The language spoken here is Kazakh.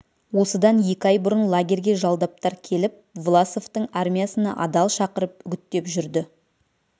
осыдан екі ай бұрын лагерьге жалдаптар келіп власовтың армиясына адал шақырып үгіттеп жүрді